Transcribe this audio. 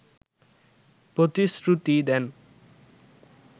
প্রতিশ্রুতি দেন